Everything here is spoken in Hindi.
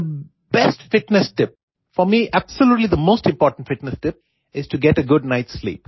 थे best fitness tip for me absolutely the most important fitness tip is to get a good night sleep